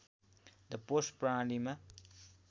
the post प्रणालीमा